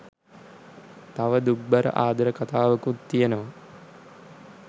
තව දුක්බර ආදර කතාවකුත් තියෙනවා